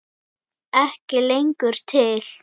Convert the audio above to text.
Ekki lengur til!